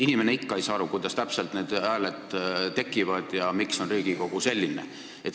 Inimene ei saa ikka aru, kuidas täpselt need hääled tekivad ja miks on Riigikogu selline.